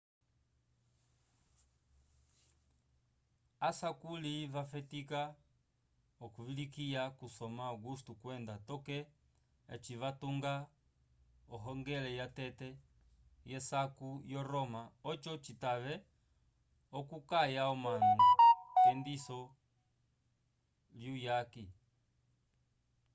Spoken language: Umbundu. asakuli vafetika okuvilikiwa kusoma augusto kwenda toke eci vatunga ohongele yatete yesaku yo roma oco citave okukaya omanu k'endiso lyuyaki